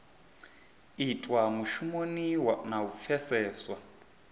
itwa mushumoni na u pfeseswa